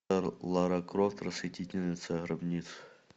лара крофт расхитительница гробниц